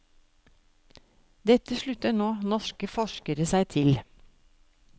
Dette slutter nå norske forskere seg til.